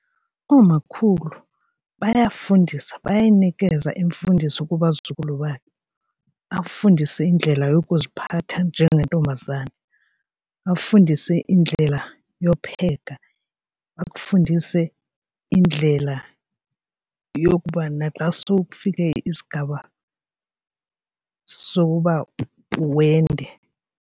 Oomakhulu bayafundisa bayayinikeza iimfundiso kubazukulwana afundise indlela yokuziphatha njengentombazana, bafundise indlela yopheka, bakufundise indlela yokuba naxa sekufike isigaba sokuba wende.